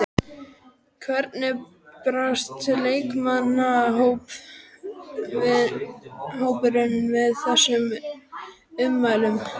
Hvernig brást leikmannahópurinn við þessum ummælum?